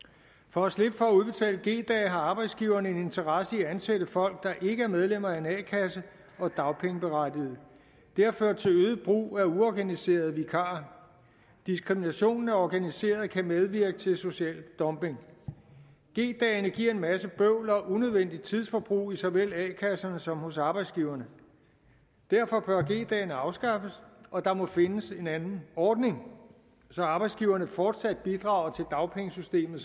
for at slippe for at udbetale g dage har arbejdsgiverne en interesse i at ansætte folk der ikke er medlemmer af en a kasse og dagpengeberettigede det har ført til øget brug af uorganiserede vikarer diskriminationen af organiserede kan medvirke til social dumping g dagene giver en masse bøvl og unødvendigt tidsforbrug i såvel a kasserne som hos arbejdsgiverne derfor bør g dagene afskaffes og der må findes en anden ordning så arbejdsgiverne fortsat bidrager til dagpengesystemet